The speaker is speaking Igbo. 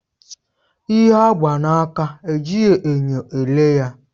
Ihe agba na aka eji enyo ele ya?